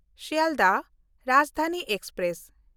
Sealdah Rajdhani express